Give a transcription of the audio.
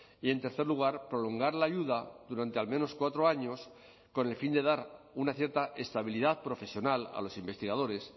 y en tercer lugar prolongar la ayuda durante al menos cuatro años con el fin de dar una cierta estabilidad profesional a los investigadores